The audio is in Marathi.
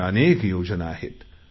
अशा अनेक योजना आहेत